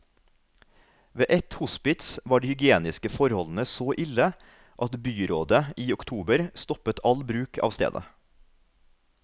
Ved ett hospits var de hygieniske forholdene så ille at byrådet i oktober stoppet all bruk av stedet.